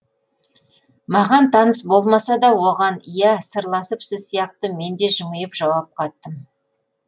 маған таныс болмаса да оған ия сырласып сіз сияқты мен де жымиып жауап қаттым